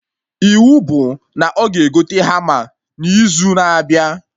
Iwu bụ na ọ ga egote hama na izu na-abịa